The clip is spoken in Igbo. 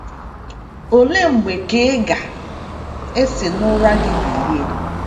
Ole mgbe ka ị ga - esi n’ụra gị bilie?